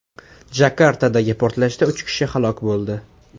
Jakartadagi portlashda uch kishi halok bo‘ldi.